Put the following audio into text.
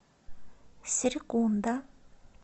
серекунда